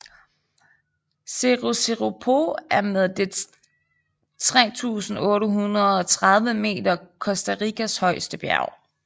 Cerro Chirripó er med dets 3830 meter Costa Ricas højeste bjerg